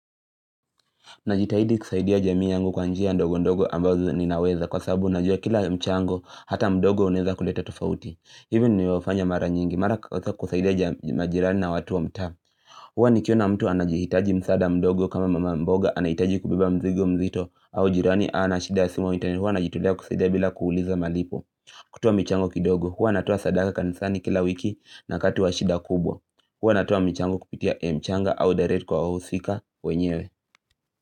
Najitahidi kusaidia jamii yangu kwa njia ndogo ndogo ambazo ninaweza kwa sababu najua kila mchango hata mdogo unaweza kuleta tofauti. Hivyo nimefanya mara nyingi mara kusaidia majirani na watu wa mta Huwa nikiona mtu anajihitaji msada mdogo kama mama mboga anahitaji kubeba mzigo mzito au jirani anashida ya simu au internet huwa najitolea kusaidia bila kuuliza malipo. Kutoa michango kidogo huwa natoa sadaka kanisani kila wiki na kati wa shida kubwa huwa natua mchango kupitia mchanga au direct kwa usika wenyewe.